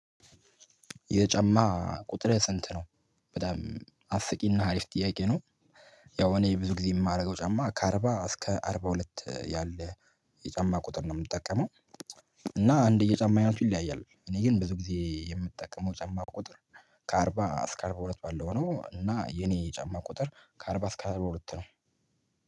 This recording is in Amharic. የጫማ ቁጥርህ ስንት ነው? በጣም አስቂና ሀሪፍ ጥያቄ ነው። ያው እኔ ብዙ ጊዜ የማደርገው ጫማ ከአርባ እስከ አርባ ሁለት ያለ የጫማ ቁጥር ነው የምጠቀመው፤ እና እንደ የጫማ አይነቱ ይለያያል፤ እኔ ግን ብዙ ጊዜ የምጠቀመው ጫማ ቁጥር ከአርባ እስከ አርባ ሁለት ባለው ነው፤ እና የኔ ጫማ ቁጥር ከአርባ እስከ አርባ ሁለት ነው።